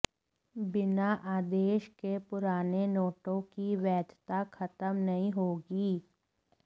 बिना अध्यादेश के पुराने नोटों की वैधता खत्म नही होगी